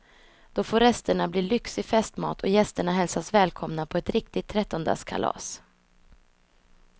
Då får resterna bli lyxig festmat och gästerna hälsas välkomna på ett riktigt trettondagskalas.